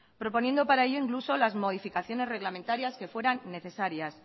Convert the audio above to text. proponiendo para ello incluso las modificaciones reglamentarias que fueran necesarias